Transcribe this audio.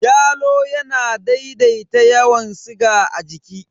Yalo yana daidaita yawan siga a jiki.